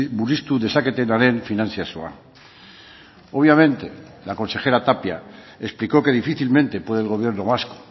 murriztu dezaketenaren finantzazioa obviamente la consejera tapia explicó que difícilmente puede el gobierno vasco